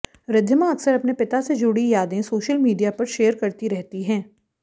रिद्धिमा अक्सर अपने पिता से जुड़ी यादें सोशल मीडिया पर शेयर करती रहती हैं